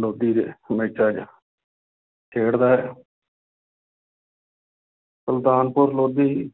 ਲੋਧੀ ਦੇ ਮੈਚਾਂ 'ਚ ਖੇਡਦਾ ਹੈ ਸੁਲਤਾਨਪੁਰ ਲੋਧੀ